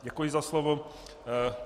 Děkuji za slovo.